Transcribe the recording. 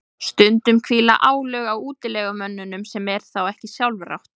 stundum hvíla álög á útilegumönnunum sem er þá ekki sjálfrátt